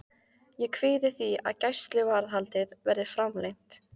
Ég kvíði því að gæsluvarðhaldið verði framlengt.